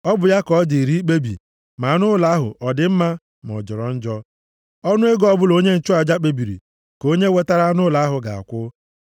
Ọ bụ ya ka ọ dịrị ikpebi ma anụ ụlọ ahụ ọ dị mma, ma ọ jọrọ njọ. Ọnụ ego ọbụla onye nchụaja kpebiri, ka onye wetara anụ ụlọ ahụ ga-akwụ.